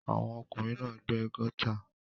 Àwọn ọkùnrin náà gbẹ́ gọ́tà.